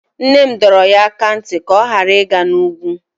Nne m dọrọ ya aka ná ntị ka ọ ghara ịga n'ugwu.